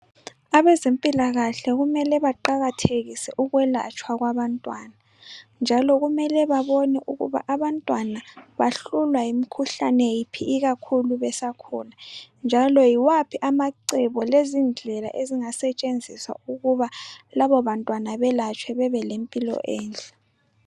Abezempilakahle kumele baqakathekise ukwelatshwa kwabantwana. Njalo kumele babone ukuba abantwana bahlolwa yiphi imikhuhlane ikakhulu besakhula. Njalo yiwaphi amacebo lezindlela ezingasentshenziswa ukuba lababantwana belatshwe.